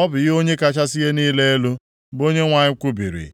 Ọ bụ ihe Onye kachasị ihe niile elu, bụ Onyenwe anyị kwubiri.